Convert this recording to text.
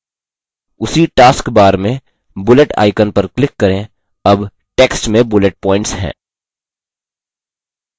उसी task bar में bullet icon पर click करें अब text में bullet points हैं